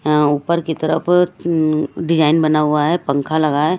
यहां ऊपर की तरफ अं डिजाइन बना हुआ है पंखा लगा है।